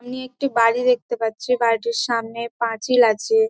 একটি বাড়ি দেখতে পারছি বাড়িটির সামনে পাঁচিল আছে--